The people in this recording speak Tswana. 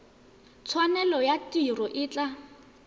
tshwanelo ya tiro e tla